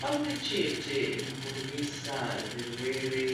pamwe chete nekurwisa zverwere